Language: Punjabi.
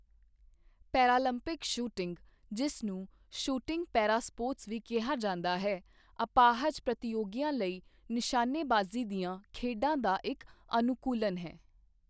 ਪੈਰਾਲੰਪਿਕ ਸ਼ੂਟਿੰਗ, ਜਿਸ ਨੂੰ ਸ਼ੂਟਿੰਗ ਪੈਰਾ ਸਪੋਰਟਸ ਵੀ ਕਿਹਾ ਜਾਂਦਾ ਹੈ, ਅਪਾਹਜ ਪ੍ਰਤੀਯੋਗੀਆਂ ਲਈ ਨਿਸ਼ਾਨੇਬਾਜ਼ੀ ਦੀਆਂ ਖੇਡਾਂ ਦਾ ਇੱਕ ਅਨੁਕੂਲਨ ਹੈ।